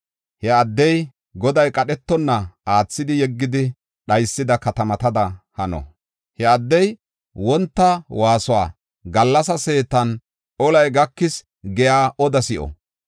He addey Goday qadhetonna aathidi yeggidi dhaysida katamatada hano. He addey wonta waasuwa, gallas seetan, “Olay gakis!” giya odaa si7o.